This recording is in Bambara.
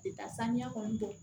Tɛ taa saniya kɔni tɛ